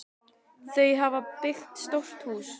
Þau hafa byggt stórt hús.